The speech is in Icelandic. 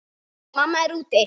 Mamma er úti.